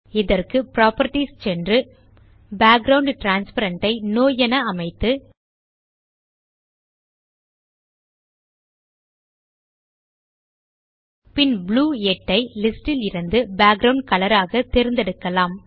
இதற்கு புராப்பர்ட்டீஸ் க்கு சென்று மற்றும் பேக்கிரவுண்ட் டிரான்ஸ்பேரன்ட் ஐ நோ என அமைத்து பின் ப்ளூ 8 ஐ லிஸ்ட் இலிருந்து பேக்கிரவுண்ட் கலர் ஆக தேர்ந்தெடுக்கலாம்